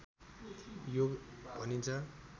योग भनिन्छ